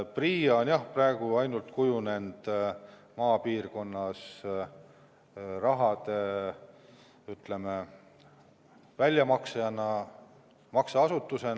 PRIA on praegu ainukesena kujunenud maapiirkonnas raha väljamaksjaks, makseasutuseks.